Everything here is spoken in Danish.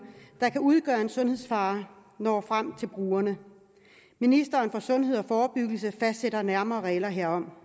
der kan udgøre en sundhedsfare når frem til brugerne ministeren for sundhed og forebyggelse fastsætter nærmere regler herom